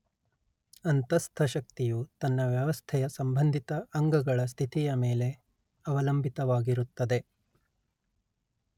ಅಂತಸ್ಥ ಶಕ್ತಿಯು ತನ್ನ ವ್ಯವಸ್ಥೆಯ ಸಂಬಂಧಿತ ಅಂಗಗಳ ಸ್ಥಿತಿಯ ಮೇಲೆ ಅವಲಂಬಿತವಾಗಿರುತ್ತದೆ